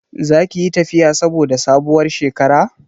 Za ki yi tafiya saboda sabuwar shekara?